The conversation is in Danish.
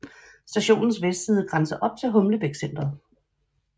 Stationens vestside grænser op til Humlebæk Centret